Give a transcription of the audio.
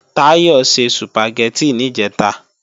Táyọ̀ se Sùpàgẹ́tì níjẹ̀ta